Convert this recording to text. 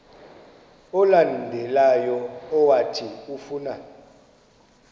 olandelayo owathi ufuna